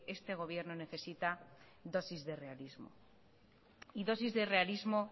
este gobierno necesita dosis de realismo y dosis de realismo